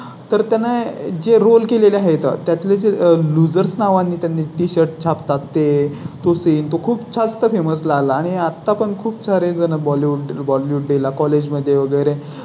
तर त्यांना जे Role केले ला आहे त्यातले Loosers नावाने त्यांनी Tshirt छाप तात ते तोच येईल. तो खूप जास्त Famous लाल आणि आता पण खूप सारे जण बॉलीवुड बॉलिवूड ला कॉलेज मध्ये वगैरे